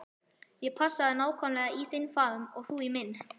Ég passaði nákvæmlega í þinn faðm og þú í minn.